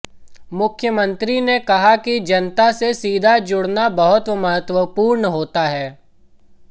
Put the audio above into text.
मुख्यमंत्री ने कहा कि जनता से सीधा जुडऩा बहुत महत्वपूर्ण होता है